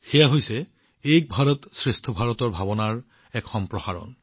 সেয়া হৈছে এক ভাৰতশ্ৰেষ্ঠ ভাৰতৰ আত্মাৰ সম্প্ৰসাৰণ